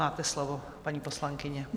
Máte slovo, paní poslankyně.